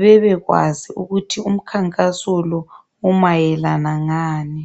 bebekwazi ukuthi umkhankaso lo umayelana ngani.